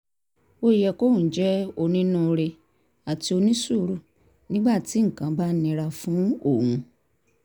ó yẹ kóun jẹ́ onínúure àti onísùúrù nígbà tí nǹkan bá nira fún òun